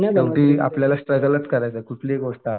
पण ती आपल्याला स्ट्रगलच करायचं आहे कुठलीही गोष्ट आहे.